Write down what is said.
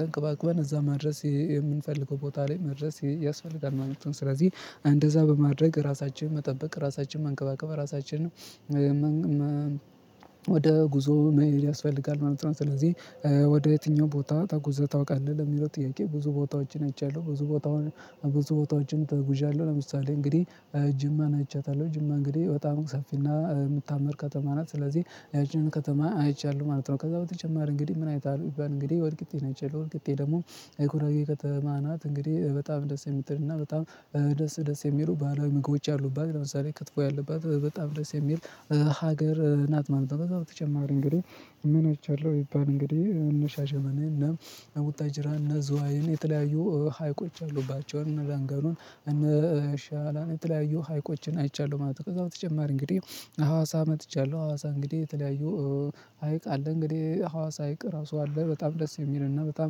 ተንከባክበን እዛ መድረስ የምንፈልገው ቦታ ላይ መድረስ ያስፈልጋል ማለት ነው። ስለዚህ እንደዛ በማድረግ ራሳችንን መጠበቅ ራሳችንን መንከባከብ ራሳችንን ወደ ጉዞ ያስፈልጋል ማለት ነው። ስለዚህ ወደ የትኛው ቦታ ተጉዘህ ታውቃለህ? ለሚለው ጥያቄ ብዙ ቦታዎችን አይቻለሁ። ብዙ ቦታውን ብዙ ቦታዎችን ተጉዣለሁ ለምሳሌ እንግዲህ ጅማን አይቻታለሁ። ጅማ እንግዲህ በጣም ሰፊና የምታምር ከተማ ናት። ስለዚህ ያችንን ከተማ አይቻለሁ ማለት ነው። ከዛ በተጨማሪ እንግዲህ ምን አይተሀል ቢባል እንግዲ? ወልቂጤን አይቻለሁ። ወልቂጤ ደግሞ የጉራጌ ከተማ ናት። እንግዲህ በጣም ደስ የምትል እና በጣም ደስ ደስ የሚሉ ባህላዊ ምግቦች ያሉባት። ለምሳሌ ክትፎ ያለባት በጣም ደስ የሚል ሀገር ናት ማለት ነው። ከዛ በተጨማሪ እንግዲህ ምን አይቻለሁ ቢባል እንግዲህ እነ ሻሸመኔ እነ፣ ጅራ፣ እነ ዝዋይን የተለያዩ ሀይቆች ያሉባቸውን እነ ላንጋኖን፣ እነ ሻላን የተለያዩ ሀይቆችን አይቻለሁ ማለት ነው። ከዛ በተጨማሪ እንግዲህ ሀዋሳ መጥቻለሁ። ሀዋሳ እንግዲህ የተለያዩ ሀይቅ አለ። እንግዲህ ሀዋሳ አይቅ ራሱ አለ። በጣም ደስ የሚል እና በጣም